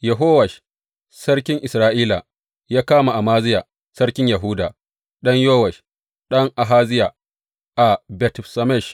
Yehowash sarkin Isra’ila ya kama Amaziya sarkin Yahuda, ɗan Yowash, ɗan Ahaziya, a Bet Shemesh.